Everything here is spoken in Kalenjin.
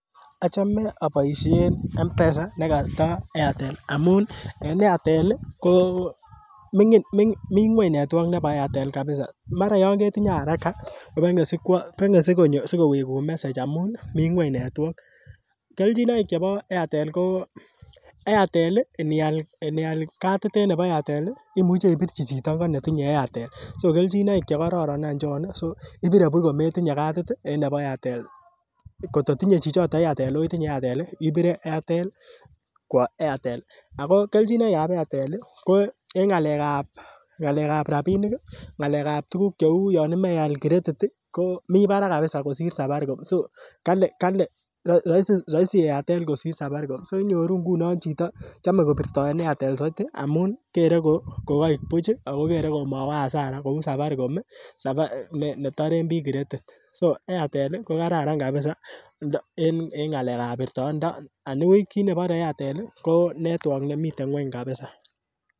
Achome aboisien Mpesa nekato Airtel amun en Airtel ko ming'in mii ng'weny network nebo Airtel kabisa mara yon ketinye haraka kobeng'e sikwo beng'e sikoibun message amun mii ng'weny network, kelchinoik chebo Airtel ko Airtel nial katit en Airtel imuche ibirchi chito korong netinye Airtel so kelchinoik chekoron chon ih so ibire buch kometinye katit ih en nebo Airtel kot kotinye chichoton Airtel oh itinye Airtel ih ibire Airtel kwo Airtel ako kelchinoik ab Airtel ih ko en ng'alek ab rapinik ih ng'alek ab yan imoche ial tuguk cheu credit ih komii barak kabisa kosir Safaricom so kali kali roisi Airtel kosir Safaricom so inyoruu ngunon chito chome kobirtoen Airtel soiti amun kere ko koik buch ih akokere komowo hasara kou Safaricom ih netoren biik credit so Airtel ko kararan kabisa en ng'alek ab birtoet anibuch kit nebore Airtel ko network nemiten ng'weny kabisa